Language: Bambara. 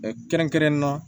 kɛrɛnkɛrɛnnen na